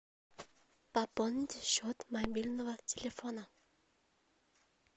пополните счет мобильного телефона